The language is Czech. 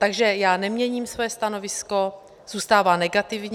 Takže já neměním svoje stanovisko, zůstává negativní.